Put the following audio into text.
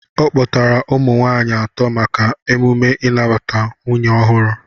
Ọ kpọtara ụmụ nwaanyị atọ maka emume nnabata nwunye ọhụrụ